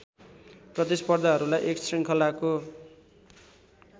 प्रतिस्पर्धाहरूलाई एक श्रृङ्खलाको